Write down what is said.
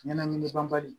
Ɲɛnɛmini banbali